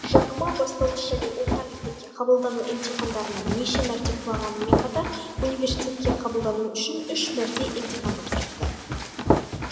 жак ма бастауыш және орта мектепке қабылдану емтихандарынан неше мәрте құлағанымен қатар университетке қабылдану үшін үш мәрте емтихан тапсырыпты